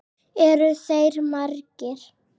Eru þeir margir?